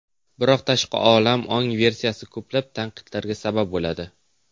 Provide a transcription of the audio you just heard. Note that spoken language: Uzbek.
Biroq tashqi olam ongi versiyasi ko‘plab tanqidlarga sabab bo‘ladi.